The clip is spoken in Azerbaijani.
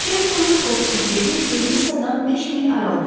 Chester Wilcoxun evi Vermissadan 5 mil aralıda idi.